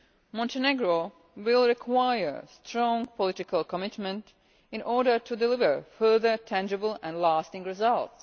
Montenegro will require strong political commitment in order to deliver further tangible and lasting results.